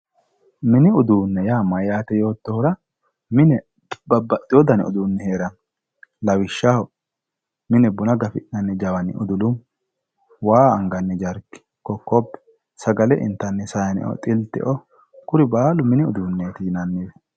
Mini uduunne yaa mayaate yoottohura, mine babbxxewo uduunni heeranno lawishshaho mine buna gafi'nanni jawani udulumu waa anganni jarki, kokkobbe sagale intanni saayiine woyi xilteoo kuri baalu mini uduunneeti yinanniwe.